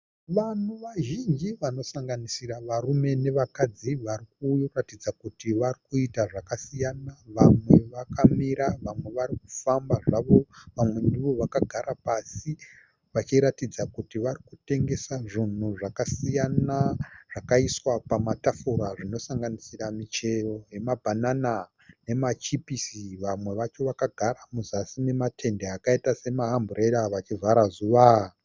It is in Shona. Vanhu vazhinji vanosanganisira varume nevakadzi vari kuratidza kuti vari kuita zvakasiyana. Vamwe vakamira, vamwe vari kufamba zvavo, vamwe ndivo vakagara pasi vachiratidzira kuti vari kutengesa zvinhu zvakasiyana zvakaiswa pamatafura zvinosanganisira michero yemabhanana nemachipisi. Vamwe vacho vakagara muzasi mematende akaita semaamburera vachivhara zuva.